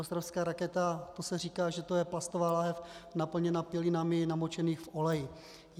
Ostravská raketa, to se říká, že to je plastová láhev naplněná pilinami namočenými v oleji.